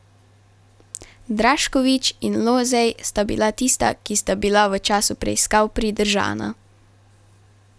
Draškovič in Lozej sta bila tista, ki sta bila v času preiskav pridržana.